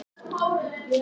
Sveitarfélög hækka gjöld